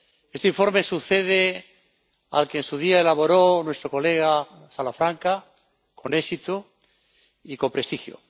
Este informe sucede al que en su día elaboró nuestro colega Salafranca con éxito y con prestigio.